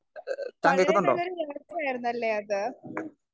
Speaker 1 വളരെ നല്ലൊരു യാത്രായിരുന്നല്ലേ അത്?